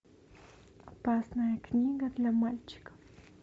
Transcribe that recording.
опасная книга для мальчиков